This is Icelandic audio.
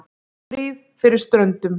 STRÍÐ FYRIR STRÖNDUM